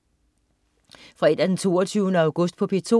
Fredag den 22. august - P2: